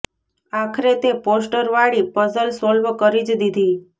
આખરે તે પોસ્ટર વાળી પઝલ સોલ્વ કરી જ દીધી